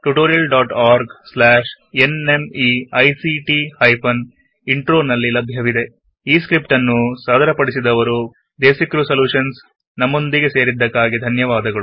ಈ ಸ್ಕ್ರಿಪ್ಟ್ ಅನ್ನು ಸಾದರಪಡಿಸಿದವರು ಪ್ರಿಯಾ ಸುರೇಶ್ ಡೇಸಿ ಕ್ರೀವ್ ಸಲ್ಯುಷನ್ಸ್ ಮತ್ತು ದ್ವನಿ ರಿಯಾ ಡೇಸಿ ಕ್ರೀವ್ ಸಲ್ಯುಷನ್ಸ್ ವಿದಾಯ ಹೇಳುತ್ತೇನೆ